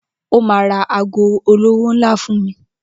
Ó ma ra ago olówó ńlá fún mi.